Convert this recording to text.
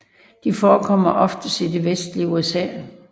De forekommer oftest i det vestlige USA